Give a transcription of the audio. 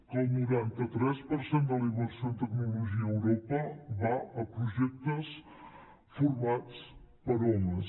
que el noranta tres per cent de la inversió en tecnologia a europa va a projectes formats per homes